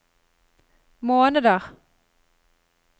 måneder